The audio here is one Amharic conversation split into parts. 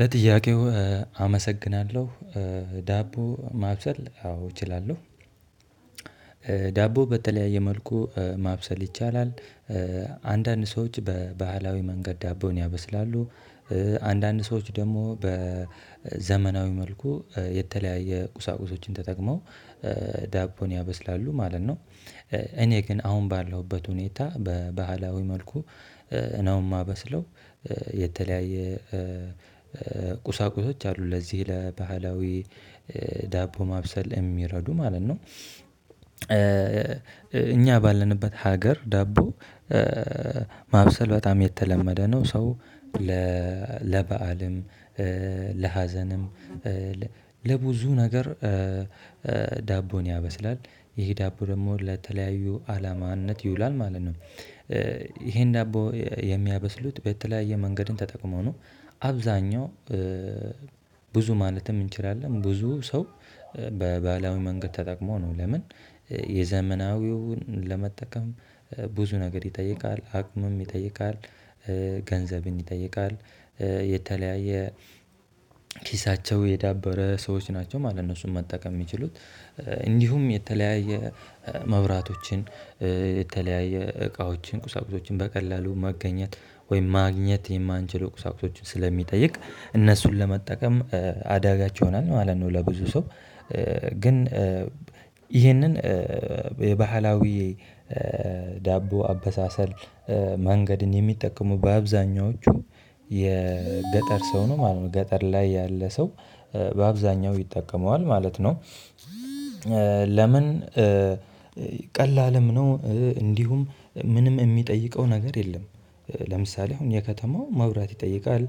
ለጥያቄው አመሰግናለሁ። ዳቦ ማብሰል አዎ እችላለሁ። ዳቦ በተለያየ መልኩ ማብሰል ይቻላል። አንዳንድ ሰወች በባህላዊ መንገድ ዳቦን ያበስላሉ። አንዳንድ ሰዎች ደግሞ በዘመናዊ መልኩ የተለያየ ቁሳቁሶችን ተጠቅመው ዳቦን ያበስላሉ ማለት ነው። እኔ ግን አሁን ባለሁበት ሁኔታ በባህላዊ መልኩ እ ነው እማበስለው። የተለያየ ቁሳቁሶች አሉ ለዚህ ለባህላዊ ዳቦ ማብሰል የሚረዱ ማለት ነው። እኛ ባለንበት ሀገር ዳቦ ማብሰል በጣም የተለመደ ነው። ሰው ለበአልም ለሀዘንም ለብዙ ነገር ዳቦን ያበስላል። ይሄ ዳቦ ደግሞ ለተለያዩ አላማነት ይውላል ማለት ነው። ይሄን ዳቦ የሚያበስሉት በተለያየ መንገድን ተጠቅሞ ነው። አብዛኛው ብዙ ማለትም እንችላለን ብዙ ሰው በባህላዊ መንገድ ተጠቅሞ ነው። ለምን የዘመናዊውን ለመጠቀም ብዙ ነገር ይጠይቃል አቅምም ይጠይቃል። ገንዘብን ይጠይቃል የተለያየ ኪሳቸው የዳበረ ሰዎች ናቸው ማለት ነው እነሱን መጠቀም የሚችሉት። እንዲሁም የተለያየ መብራቶችን የተለያየ እቃዎችን ቁሳቁሶችን በቀላሉ መገኘት ወይም ማግኘት የማንችለው ቁሳቁሶችን ስለሚጠይቅ እነሱን ለመጠቀም አዳጋች ይሆናል ማለት ነው። ለብዙ ሰው ግን ይሄንን የባህላዊ ዳቦ አበሳሰል መንገድን የሚጠቀሙ በአብዛኛዎቹ የገጠር ሰው ነው ማለት ነው። ገጠር ላይ ያለ ሰው በአብዛኛው ይጠቀመዋል ማለት ነው። ለምን ቀላልም ነው እንዲሁም ምንም የሚጠይቀው ነገር የለም። ለምሳሌ አሁን የከተማው መብራት ይጠይቃል።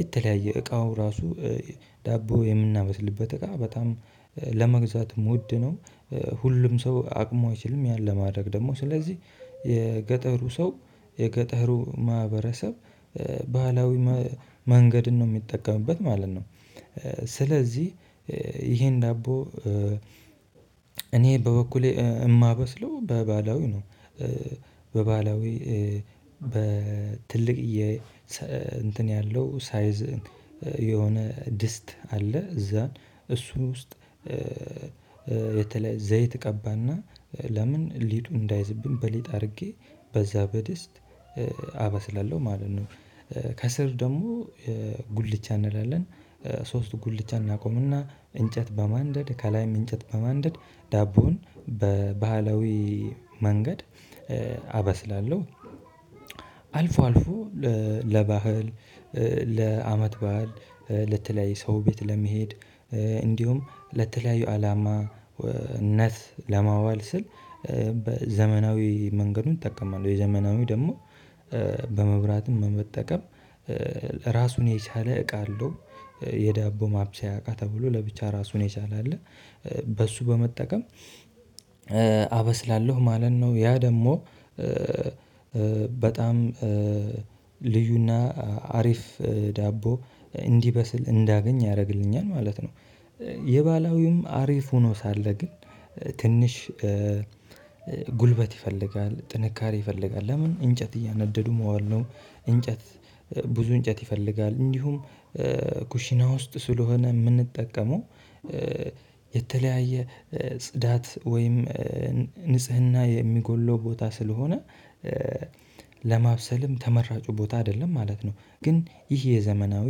የተለያየ እቃው ራሱ ዳቦ የምናመስልበት እቃ በጣም ለመግዛትም ውድ ነው። ሁሉም ሰው አቅሙ አይችልም ያን ለማድረግ ደግሞ ስለዚህ የገጠሩ ሰው የገጠሩ ማህበረሰብ ባህላዊ መንገድን ነው የሚጠቀምበት ማለት ነው። ስለዚህ ይሄን ዳቦ እኔ በበኩሌ የማበስለው በባህላዊ ነው። በባህላዊ በትልቅየ እንትን ያለው ሳይዝ የሆነ ድስት አለ እዛን እሱን ውስጥ የተለ ዘይት እቀባና ለምን ሊጡ እንዳይዝብን በሊጥ አድርጌ በዛ በደስት አበስላለሁ ማለት ነው። ከስር ደግሞ ጉልቻ እንላለን ሶስት ጉልቻ እናቆምና እንጨት በማንደድ ከላይም እንጨት በማንደድ ዳቦውን በባህላዊ መንገድ አበስላለሁ። አልፎ አልፎ ለባህል ለአመት በዓል ለተለያዩ ሰው ቤት ለመሄድ እንዲሁም ለተለያዩ አላማነት ለማዋል ስል። ዘመናዊ መንገዱን እጠቀማል የዘመናዊ ደግሞ በመብራትም በመጠቀም ራሱን የቻለ እቃ አለው። የዳቦ ማብሰያ እቃ ተብሎ ለብቻ ራሱን የቻለ አለ። በሱ በመጠቀም አበስላለሁ ማለት ነው ያ ደግሞ በጣም ልዩና አሪፍ ዳቦ እንዲበስል እንዳገኝ ያደርግልኛል ማለት ነው። የባህላዊውም አሪፍ ሆኖ ሳለ ግን ትንሽ ጉልበት ይፈልጋል ጥንካሬ ይፈልጋል ለምን እንጨት እያነደዱ መዋል ነው። እንጨት ብዙ እንጨት ይፈልጋል። እንዲሁም ኩሽና ውስጥ ስለሆነ የምንጠቀመው የተለያየ ጽዳት ወይም ንጽህና የሚጎለው ቦታ ስለሆነ ለማብሰልም ተመራጩ ቦታ አይደለም ማለት ነው። ግን ይሄ የዘመናዊ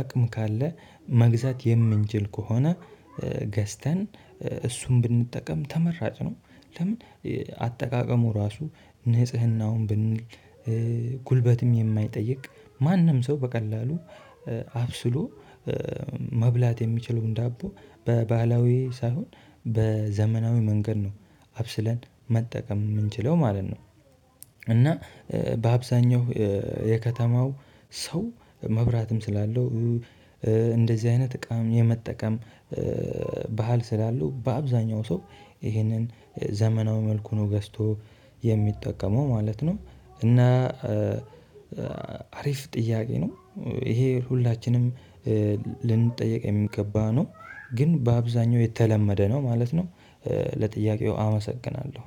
አቅም ካለ መግዛት የምንችል ከሆነ ገዝተን እሱን ብንጠቀም ተመራጭ ነው። ለምን አጠቃቀሙ ራሱ ንጽህናውን ብንል ጉልበትም የማይጠይቅ ማንም ሰው በቀላሉ አብስሎ መብላት የሚችለውን ዳቦ በባህላዊ ሳይሆን በዘመናዊ መንገድ ነው። አብስለን መጠቀም የምንችለው ማለት ነው። እና በአብዛኛው የከተማው ሰው መብራትም ስላለው እንደዚህ አይነት እቃም የመጠቀም ባህል ስላለው በአብዛኛው ሰው ይሄንን ዘመናዊ መልኩን ገዝቶ የሚጠቀመው ማለት ነው። እና አሪፍ ጥያቄ ነው። ይሄ ሁላችንም ልንጠየቅ የሚገባ ነው ግን በአብዛኛው የተለመደ ነው ማለት ነው። ለጥያቄው አመሰግናለሁ